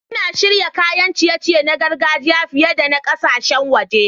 Ina shirya kayan ciye-ciye na gargajiya fiye da na ƙasashen waje.